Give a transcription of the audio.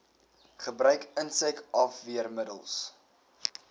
gebruik insek afweermiddels